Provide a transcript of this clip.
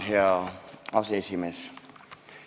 Hea aseesimees!